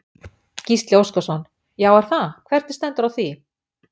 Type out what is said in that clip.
Gísli Óskarsson: Já er það, hvernig stendur á því?